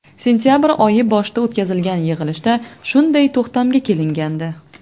Sentabr oyi boshida o‘tkazilgan yig‘ilishda shunday to‘xtamga kelingandi.